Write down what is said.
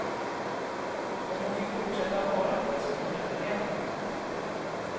Om hon fick fortsätta vara det, skulle hon överleva.